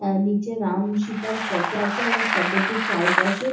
আঃ আঃ নিচে রাম সীতার ফটো আছে এবং ফটো টির চারপাশে--